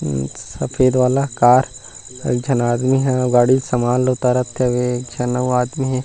उ सफ़ेद वाला कार एक झन आदमी है वो गाड़ी ले समान ला उतारत हवे एक झन अउ आदमी।